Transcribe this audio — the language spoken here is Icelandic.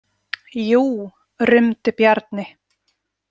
Jú, rumdi Bjarni.